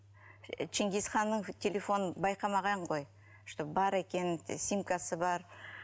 ченгизханның телефонын байқамаған ғой что бар екенін симкасы бар